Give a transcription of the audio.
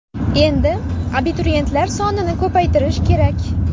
Endi abituriyentlar sonini ko‘paytirish kerak.